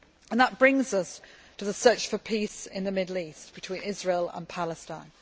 That brings us to the search for peace in the Middle East, between Israel and Palestine.